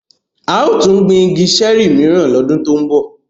A yóò tun gbin igi ṣẹẹri miran lọdun to nbọ.